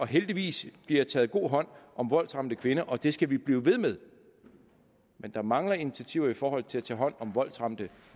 heldigvis bliver taget god hånd om voldsramte kvinder og det skal vi blive ved med men der mangler initiativer i forhold til at tage hånd om voldsramte